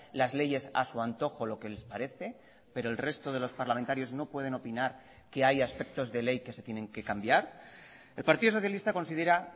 las leyes a su antojo lo que les parece pero el resto de los parlamentarios no pueden opinar que haya aspectos de ley que se tienen que cambiar el partido socialista considera